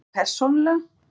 Ég persónulega?